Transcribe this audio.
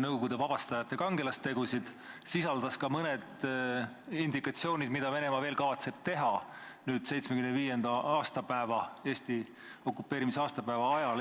Nõukogude vabastajate kangelastegusid, sisaldas ka mõningaid vihjeid sellele, mida Venemaa kavatseb teha Eesti okupeerimise 75. aastapäeva ajal.